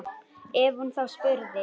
Ef hún þá spurði.